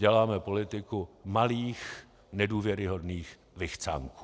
Děláme politiku malých nedůvěryhodných vychcánků.